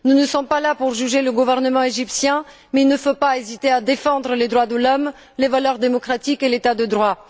Nous ne sommes pas là pour juger le gouvernement égyptien mais il ne faut pas hésiter à défendre les droits de l'homme, les valeurs démocratiques et l'état de droit.